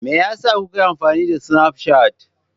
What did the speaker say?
Me yasa kuka yi amfani da Snapchat?